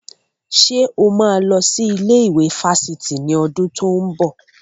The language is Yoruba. Ṣé o máa lọ sí ilé ìwé fáfitì ní ọdún tó ń bọ̀?